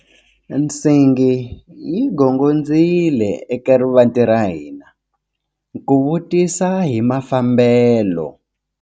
Nsingi yi gongondzile eka rivanti ra hina ku vutisa hi mafambelo.